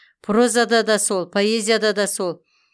прозада да сол поэзияда да сол